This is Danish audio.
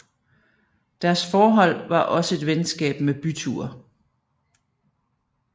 Deres forhold var også et venskab med byture